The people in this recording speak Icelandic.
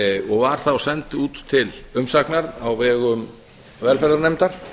og var þá send út til umsagnar á vegum velferðarnefndar